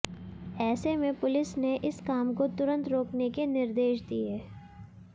ऐसे में पुलिस ने इस काम को तुरंत रोकने के निर्देश दिए